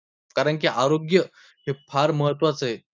कारण की आरोग्य हे फार महत्वाचे आहे.